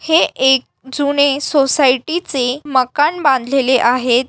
हे एक जुने सोसायटी चे मकान बांधलेले आहेत.